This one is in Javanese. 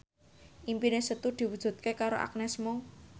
impine Setu diwujudke karo Agnes Mo